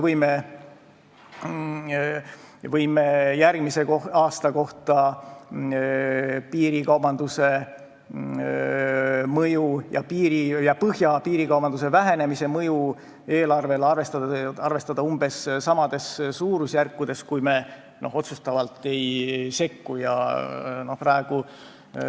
Me võime järgmise aasta kohta arvestada lõunapiiri piirikaubanduse mõju ja põhjapiiril piirikaubanduse vähenemise mõju eelarvele umbes samades suurusjärkudes, kui me otsustavalt ei sekku.